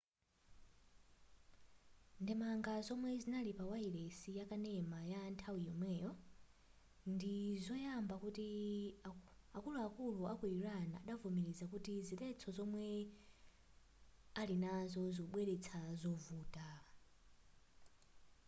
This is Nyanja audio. ndemanga zomwe zinali pa wailesi yakanema za nthawi yomweyo ndizoyamba kuti akuluakulu aku iran adavomereza kuti ziletso zomwe alinazo zikubweretsa zovuta